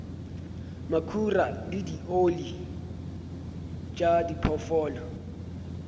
makhura le dioli tša diphoofolo